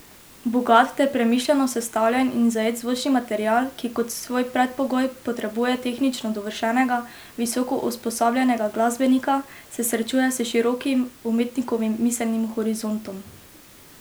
Bogat ter premišljeno sestavljen in zajet zvočni material, ki kot svoj predpogoj potrebuje tehnično dovršenega, visoko usposobljenega glasbenika, se srečuje s širokim umetnikovim miselnim horizontom.